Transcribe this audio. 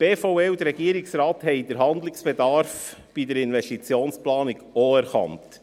Auch die BVE und der Regierungsrat haben den Handlungsbedarf bei der Investitionsplanung erkannt.